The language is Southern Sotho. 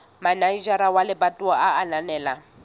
manejara wa lebatowa a ananela